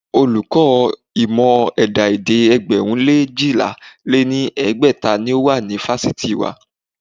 Olùkọ́ ìmọ̀ ẹ̀dá-èdè ẹgbẹ̀rún lé eéjìlá lé ní ẹgbẹ́ta ni ó wà ní fásitì wa.